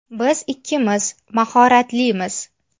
Biz ikkimiz mahoratlimiz.